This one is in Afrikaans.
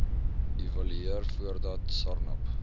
evalueer voordat sarnap